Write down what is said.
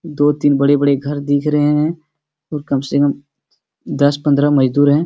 दो-तीन बड़े-बड़े घर दिख रहे हैं और कम से कम दस पन्द्रह मजदूर है।